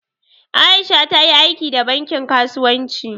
Aisha ta yi aiki da bankin kasuwanci.